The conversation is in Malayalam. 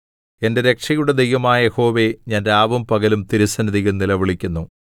എന്റെ രക്ഷയുടെ ദൈവമായ യഹോവേ ഞാൻ രാവും പകലും തിരുസന്നിധിയിൽ നിലവിളിക്കുന്നു